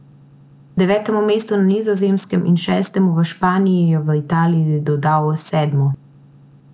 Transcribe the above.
Devetemu mestu na Nizozemskem in šestemu v Španiji je v Italiji dodal sedmo.